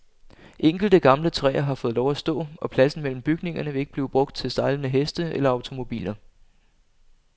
Enkelte gamle træer har fået lov at stå, og pladsen mellem bygningerne vil ikke blive brugt til stejlende heste eller automobiler.